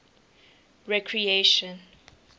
recreation